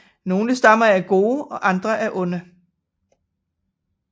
Nogle stammer er gode og andre er onde